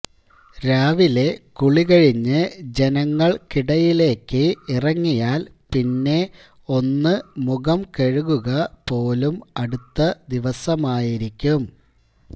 രാവിലെ കുളികഴിഞ്ഞ് ജനങ്ങള്ക്കിടയിലേക്ക് ഇറങ്ങിയാല് പിന്നെ ഒന്ന് മുഖം കഴുകുക പോലും അടുത്ത ദിവസമായിരിക്കും